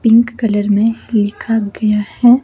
Pink colour में लिखा गया है।